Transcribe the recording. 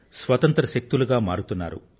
స్వశక్తులుగా మారుతున్నారు